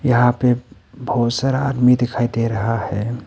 यहां पे बहुत सारा आदमी दिखाई दे रहा है।